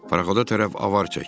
paraxoda tərəf avar çək.